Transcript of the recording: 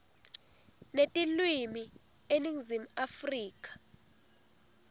netilwimi eningizimu afrika